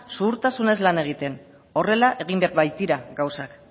zuhurtasunez lan egiten horrela egin behar baitira gauzak